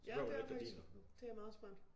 Ja det er faktisk. Det er meget smart